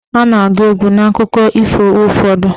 A na-agụ egwu n'akụkọ ifo ụfọdụ.